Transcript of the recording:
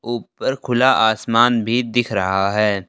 ऊपर खुला आसमान भी दिख रहा हैं।